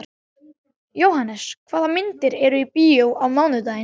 Jóhannes, hvaða myndir eru í bíó á mánudaginn?